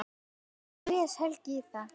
Hvernig les Helgi í það?